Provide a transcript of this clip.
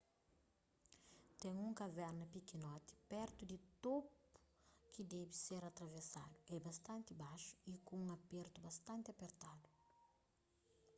ten un kaverna pikinoti pertu di topu ki debe ser atravesadu é bastanti baxu y ku un apertu bastanti apertadu